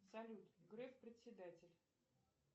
салют греф председатель